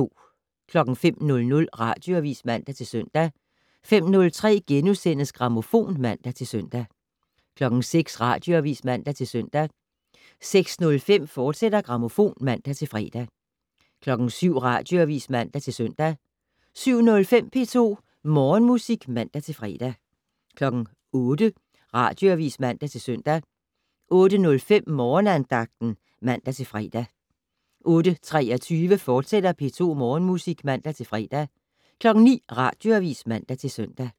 05:00: Radioavis (man-søn) 05:03: Grammofon *(man-søn) 06:00: Radioavis (man-søn) 06:05: Grammofon, fortsat (man-fre) 07:00: Radioavis (man-søn) 07:05: P2 Morgenmusik (man-fre) 08:00: Radioavis (man-søn) 08:05: Morgenandagten (man-fre) 08:23: P2 Morgenmusik, fortsat (man-fre) 09:00: Radioavis (man-søn)